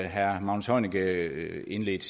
herre magnus heunicke indledte